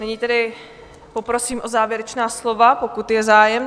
Nyní tedy poprosím o závěrečná slova, pokud je zájem.